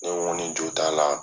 Ne koni jo t'a la